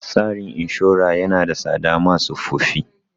Tsarin inshora ya na da tsada ma tsofaffi